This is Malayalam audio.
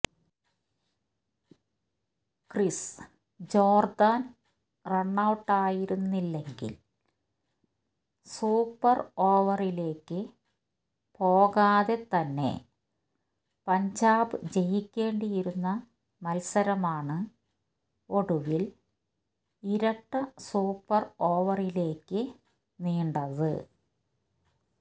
ക്രിസ് ജോർദാൻ റണ്ണൌട്ടായിരുന്നില്ലെങ്കിൽ സൂപ്പർ ഓവറിലേക്ക് പോകാതെ തന്നെ പഞ്ചാബ് ജയിക്കേണ്ടിയിരുന്ന മത്സരമാണ് ഒടുവിൽ ഇരട്ട സൂപ്പർ ഓവറിലേക്ക് നീണ്ടത്